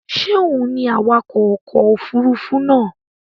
Ṣé òun ni awakọ̀ ọkọ̀ òfurufú náà